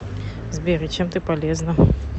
сбер и чем ты полезна